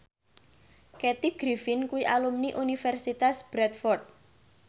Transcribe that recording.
Kathy Griffin kuwi alumni Universitas Bradford